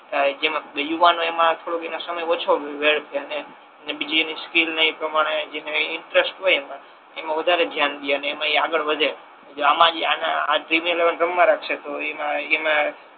જેમા યુવાનો એમા થોડો એનો સમય ઓછો વેડફે અને એને બીજી એની સ્કિલ ને એ પ્રમાણે જેમા ઇંટ્રેસ્ટ હોય એમા એમા વધારે ધ્યાન દે અને એમા એ આગળ વધે જો આમા જ એ આગળ આ ડ્રીમ એલેવન રમવા લગસે તો એમા